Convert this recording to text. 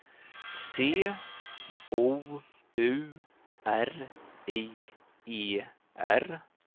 C O U R I E R